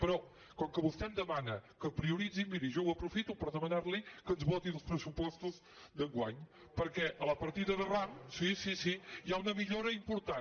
però com que vostè em demana que prioritzi miri jo ho aprofito per demanar li que ens voti els pressupostos d’enguany perquè a la partida de ram sí sí sí hi ha una millora important